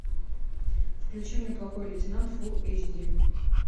включи мне плохой лейтенант фулл эйч ди